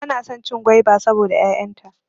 Bana son cin gwaiba saboda 'ya'yan ta.